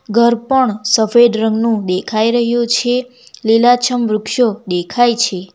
ઘર પણ સફેદ રંગનું દેખાઈ રહ્યું છે લીલાછમ વૃક્ષો દેખાય છે.